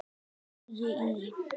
Vægi í